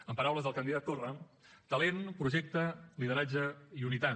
en paraules del candidat torra talent projecte lideratge i unitat